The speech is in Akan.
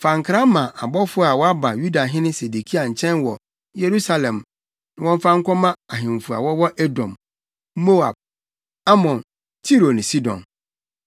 Fa nkra ma abɔfo a wɔaba Yudahene Sedekia nkyɛn wɔ Yerusalem na wɔmfa nkɔma ahemfo a wɔwɔ Edom, Moab, Amon, Tiro ne Sidon.